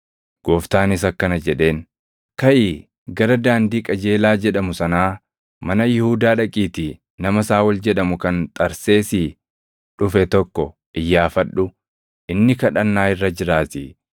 Gooftaanis akkana jedheen; “Kaʼii gara daandii ‘Qajeelaa’ jedhamu sanaa mana Yihuudaa dhaqiitii nama Saaʼol jedhamu kan Xarseesii dhufe tokko iyyaafadhu; inni kadhannaa irra jiraatii.